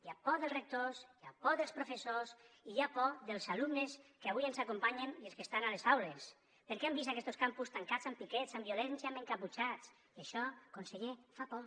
hi ha por dels rectors hi ha por dels professors i hi ha por dels alumnes que avui ens acompanyen i els que estan a les aules perquè han vist aquestos campus tancats amb piquets amb violència amb encaputxats i això conseller fa por